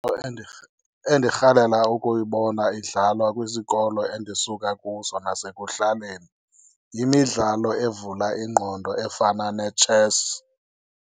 Endirhalela ukuyibona idlalwa kwisikolo endisuka kuso nasekuhlaleni yimidlalo evula ingqondo efana netshesi.